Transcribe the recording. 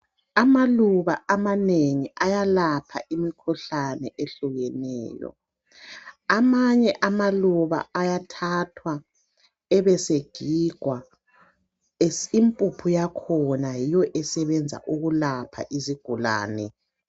Amaluba amanengi ayalapha imikhuhlane ehlukeneyo. Amanye amaluba ayathathwa ebesegigwa, impuphu yakhona yiyo esebenzayo ukulapha izigulane.